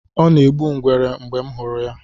Ọ na-egbu ngwere mgbe m hụrụ ya